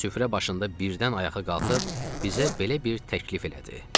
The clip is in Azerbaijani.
Süfrə başında birdən ayağa qalxıb bizə belə bir təklif elədi.